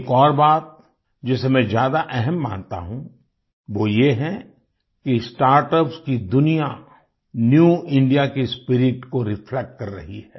एक और बात जिसे मैं ज्यादा अहम मानता हूँ वो ये है कि स्टार्टअप्स की दुनिया न्यू इंडिया की स्पिरिट को रिफ्लेक्ट कर रही है